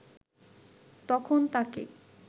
তখন তাকে